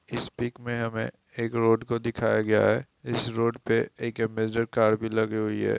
इस पिक में हमें एक रोड को दिखाया गया है। इस रोड पर एक अम्बेसडर कार भी लगी हुई है।